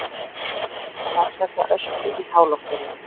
Rannsaka ösku í háloftunum